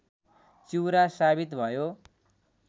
चिउरा सावित भयो